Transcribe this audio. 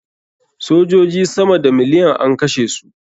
Sojoji sama da miliyan an kashe su.